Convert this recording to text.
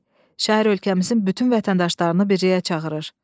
B. Şeir ölkəmizin bütün vətəndaşlarını birliyə çağırır.